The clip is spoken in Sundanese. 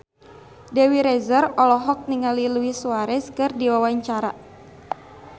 Dewi Rezer olohok ningali Luis Suarez keur diwawancara